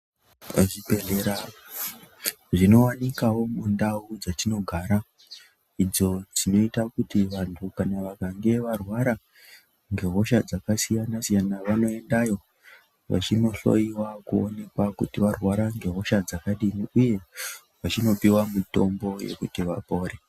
Pazvibhedlera zvinowanikawo mundau dzetinogara idzo dzinoita kuti vanthu kana vakange varwara ngehosha dzakasiyana-siyana vanoendayo vachinohloyiwa kuonekwa kuti varwara ngehosha dzakadini, uye vachinopuwa mitombo yekuti vapore.